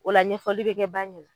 O la ɲɛfɔli be kɛ ba ɲɛna.